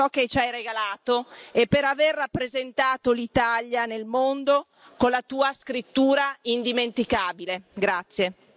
Grazie Maestro Camilleri per ciò che ci hai regalato e per aver rappresentato l'Italia nel mondo con la tua scrittura indimenticabile.